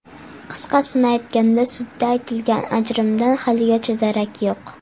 Qisqasini aytganda, sudda aytilgan ajrimdan haligacha darak yo‘q.